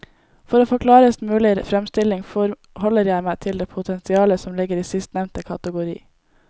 For å få en klarest mulig fremstilling forholder jeg meg til det potensialet som ligger i sistnevnte kategori.